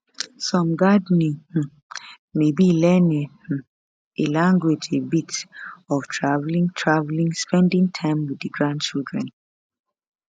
some gardening um maybe learning um a language a bit of travelling travelling spending time with di grandchildren